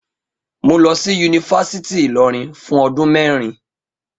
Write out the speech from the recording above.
Mo lọ sí Yunifásítì Ìlọrin fún ọdún mẹ́rin